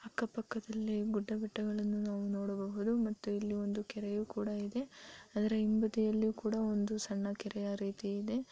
ಅಕ್ಕ ಪಕ್ಕದಲ್ಲಿ ಗುಡ್ಡ ಬೆಟ್ಟಗಳನ್ನು ನಾವು ನೋಡಬಹುದು. ಮತ್ತು ಇಲ್ಲಿ ಒಂದು ಕೆರೆಯು ಕೂಡ ಇದೆ. ಅದರ ಹಿಂಬದಿಯಲ್ಲಿಯೂ ಕೂಡ ಒಂದು ಸಣ್ಣ ಕೆರೆಯ ರೀತಿ ಇದೆ.